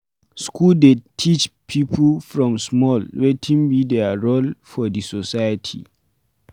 School dey teach pipo from small wetin be their role for di society